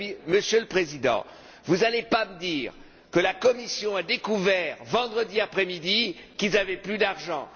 Monsieur le Président, vous n'allez pas me dire que la Commission a découvert vendredi après midi qu'elle n'avait plus d'argent!